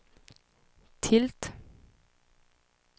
tilt